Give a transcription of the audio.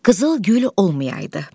Qızıl gül olmayaydı.